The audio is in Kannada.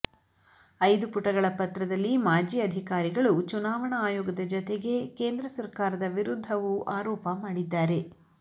ಐದು ಪುಟಗಳ ಪತ್ರದಲ್ಲಿ ಮಾಜಿ ಅಧಿಕಾರಿಗಳು ಚುನಾವಣಾ ಆಯೋಗದ ಜತೆಗೆ ಕೇಂದ್ರ ಸರ್ಕಾರದ ವಿರುದ್ಧವೂ ಆರೋಪ ಮಾಡಿದ್ದಾರೆ